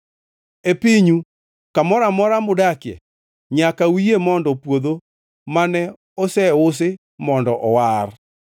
E pinyu kamoro amora mudakie, nyaka uyie mondo puodho mane oseusi mondo owar.